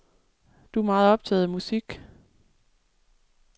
Du er meget optaget af musik.